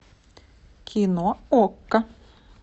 кино окко